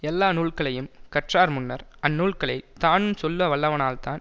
எல்லா நூல்களையும் கற்றார்முன்னர் அந்நூல்களைத் தானுஞ் சொல்ல வல்லவனால்தான்